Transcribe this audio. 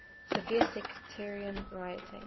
severe sectarian rioting